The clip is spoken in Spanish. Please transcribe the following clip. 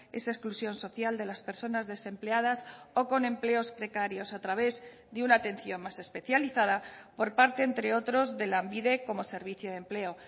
esa exclusión social de las personas desempleadas o con empleos precarios a través de una atención más especializada por parte entre otros de lanbide como servicio de empleo